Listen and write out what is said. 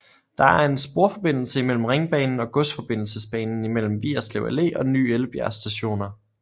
Der er er sporforbindelse imellem Ringbanen og Godsforbindelsesbanen imellem Vigerslev Allé og Ny Ellebjerg Stationer